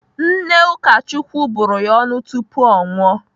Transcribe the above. Nne Ụkachukwu bụrụ ya ọnụ tupu ọ nwụọ.